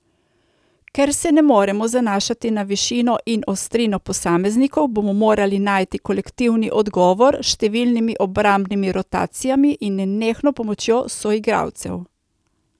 Ker se ne moremo zanašati na višino in ostrino posameznikov, bomo morali najti kolektivni odgovor s številnimi obrambnimi rotacijami in nenehno pomočjo soigralcev.